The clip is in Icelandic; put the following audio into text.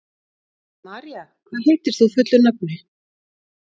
María, hvað heitir þú fullu nafni?